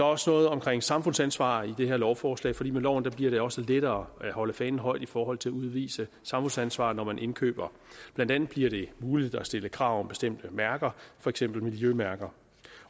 også noget omkring samfundsansvar i det her lovforslag for med loven bliver det også lettere at holde fanen højt i forhold til at udvise samfundsansvar når man indkøber blandt andet bliver det muligt at stille krav om bestemte mærker for eksempel miljømærker